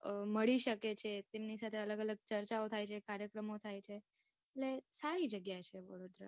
મળી શકે છે, તમની અલગ અલગ ચર્ચા ઓ થાય છે, કાર્યક્રમો થાય છે, એટલે સારી જગ્યા છે વડોદરા.